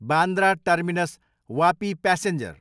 Bandra terminus, Vapi passenger